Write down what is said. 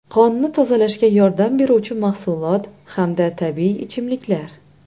Qonni tozalashga yordam beruvchi mahsulot hamda tabiiy ichimliklar.